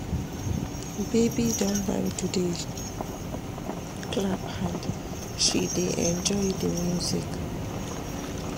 Baby don learn to dey clap hand, she dey enjoy di music.